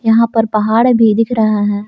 यहां पर पहाड़ भी दिख रहा है।